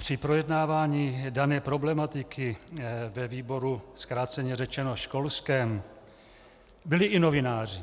Při projednávaní dané problematiku ve výboru zkráceně řečeno školském byli i novináři